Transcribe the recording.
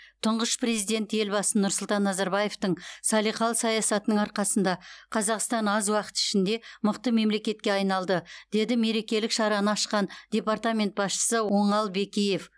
тұңғыш президент елбасы нұрсұлтан назарбаевтың салиқалы саясатының арқасында қазақстан аз уақыт ішінде мықты мемлекетке айналды деді мерекелік шараны ашқан департамент басшысы оңал бекиев